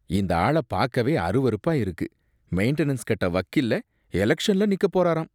இந்த ஆள பாக்கவே அருவருப்பா இருக்கு. மெயின்டனன்ஸ் கட்ட வக்கில்ல, எலக்ஷன்ல நிக்க போறாராம்.